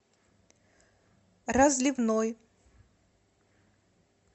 разливной